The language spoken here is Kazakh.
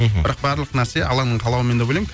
мхм бірақ барлық нәрсе алланың қалауымен деп ойлаймын